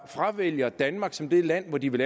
fravælger danmark som det land hvor de vil